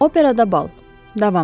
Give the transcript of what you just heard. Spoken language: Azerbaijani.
Operada bal, davamı.